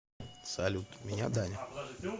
салют меня даня